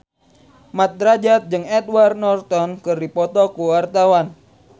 Mat Drajat jeung Edward Norton keur dipoto ku wartawan